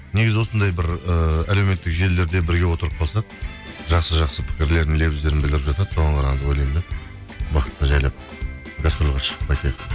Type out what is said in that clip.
негізі осындай бір ііі әлеуметтік желілерде бірге отырып қалсақ жақсы жақсы пікірлерін лебіздерін білдіріп жатады соған қарағанда ойлаймын да бақытты жайлап гастрольге шығып қайтайық